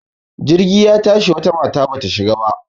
Jirgi ya tashi wata mata bata shiga ba.